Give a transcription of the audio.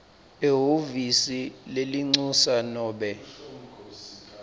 ehhovisi lelincusa nobe